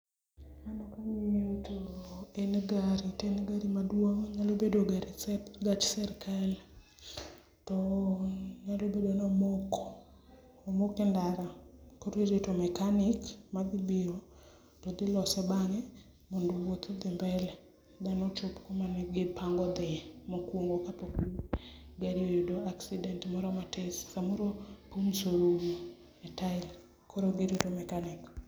Mano kangiyo to en gari to en gari maduong onyalo bedo gari, gach sirkal to nyalo bedo ni omoko, omoko e ndara koro irito mechanic madhi biro to dhi lose bang’e mondo wuoth odhi mbele dhano chop kumane gipango dhie mokuongo kapok gari oyudo accident moro matin ,samoro pums orumo e tai l koro girito mechanic